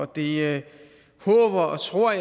det håber og tror